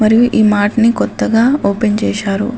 మరియు ఈ మార్ట్ ని కొత్తగా ఓపెన్ చేశారు.